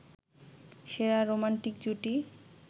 সেরা রোমান্টিক জুটি